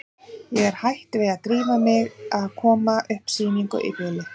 Ég er hætt við að drífa mig í að koma upp sýningu í bili.